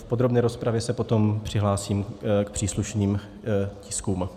V podrobné rozpravě se potom přihlásím k příslušným tiskům.